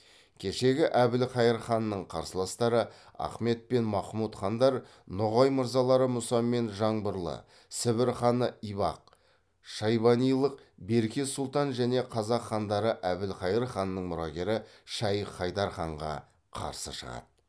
кешегі әбілхайыр ханның қарсыластары ахмет пен махмұт хандар ноғай мырзалары мұса мен жаңбырлы сібір ханы ибақ шайбанилық берке сұлтан және қазақ хандары әбілхайыр ханның мұрагері шайх хайдар ханға қарсы шығады